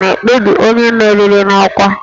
Rịzọọtụ elekshọnụ na-ekpebi onye meriri n'ọkwa